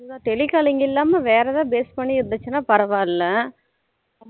அதுதான் tele calling இல்லமா வேற ஏதாவது base பண்ணி இருந்துச்சினா பரவாயில்லை